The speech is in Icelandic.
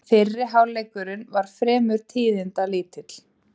Fyrri hálfleikurinn var fremur tíðindalítill